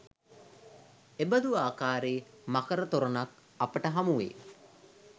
එබඳු ආකාරයේ මකර තොරණක් අපට හමුවේ.